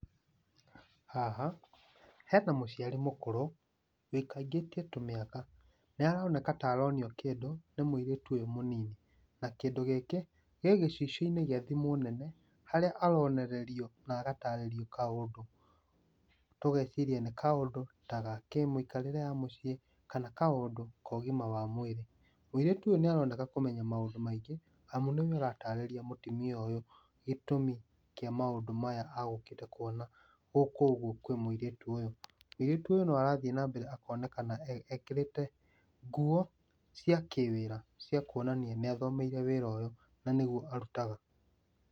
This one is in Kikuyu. Haha hena mũciari mũkũrũ ũikangĩtie tũ mĩaka. Nĩaroneka ta aronio kĩndũ nĩ mũirĩtu ũyũ mũnini, na kĩndũ gĩkĩ gĩ gĩcicio-inĩ gĩa thimũ nene, harĩa aronererio na agatarĩrio kaũndũ, tũgeciria nĩ kaũndũ ta ga kĩmũikarĩre ya mĩciĩ kana kaũndũ ko ũgima wa mwĩri. Mũirĩtu ũyũ nĩaroneka kũmenya maũndũ maingĩ, amu nĩwe ũratarĩria mũtumia ũyũ gĩtũmi kĩa maũndũ maya agukĩte kuona gũkũ ũguo kwĩ mũirĩtu ũyũ. Mũirĩtu ũyũ no arathiĩ nambere akonekana e ekĩrĩte nguo cia kĩwĩra cia kuonania nĩathomeire wĩra ũyũ na nĩguo arutaga.